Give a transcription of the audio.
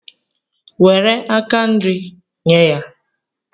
Nwere aka nri, nye ya